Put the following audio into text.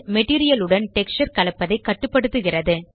material உடன் texture கலப்பதைக் கட்டுப்படுத்துகிறது